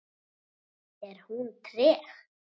Er hún treg?